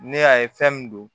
Ne y'a ye fɛn min don